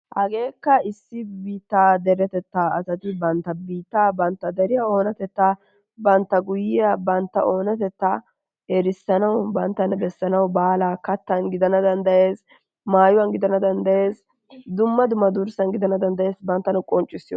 Hageekka issi biittaa deretettaa asati bantta biittaa bantta deriya oonatettaa bantta guyyiya bantta oonatettaa erissanawu banttana bessanawu baalaa. kattan gidana danddayes, maayuwan gidana danddayes, dumma dumma durssan gidana danddayes banttana qonccissiyo....